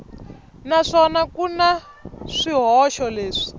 naswona ku na swihoxo leswi